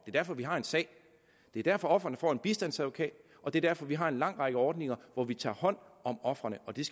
er derfor vi har en sag det er derfor ofrene får en bistandsadvokat og det er derfor vi har en lang række ordninger hvor vi tager hånd om ofrene og det